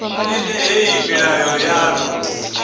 ḽine hei milayo ya ḓo